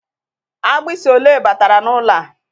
Agbisi ole batara n'ụlọ a?